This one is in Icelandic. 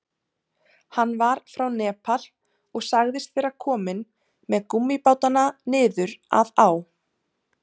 Hann var frá Nepal og sagðist vera kominn með gúmmíbátana niður að á.